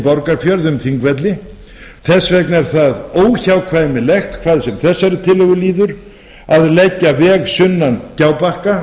borgarfjörð um þingvelli þess vegna er það óhjákvæmilegt hvað sem þessari tillögu líður að leggja veg sunnan gjábakka